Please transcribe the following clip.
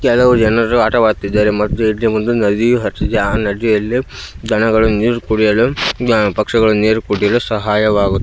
ಕೆಲವು ಜನರು ಆಟವಾಡುತ್ತಿದ್ದರೆ ಮತ್ತು ಇಲ್ಲಿ ಒಂದು ನದಿಹರಿಯುತ್ತಿದೆ ಆ ನದಿಯಲ್ಲಿ ದನಗಳು ನೀರು ಕುಡಿಯಲು ಪಕ್ಷಿಗಳು ನೀರು ಕುಡಿಯಲು ಸಹಾಯವಾಗು--